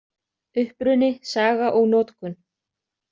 Uppruni, saga og notkun.